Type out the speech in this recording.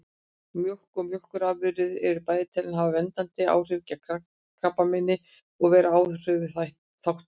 Mjólk og mjólkurafurðir eru bæði talin hafa verndandi áhrif gegn krabbameini og vera áhættuþáttur.